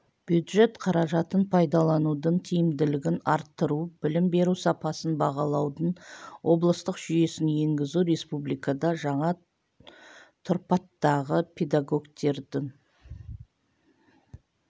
бюджет қаражатын пайдаланудың тиімділігін арттыру білім беру сапасын бағалаудың облыстық жүйесін енгізу республикада жаңа тұрпаттағы педагогтердің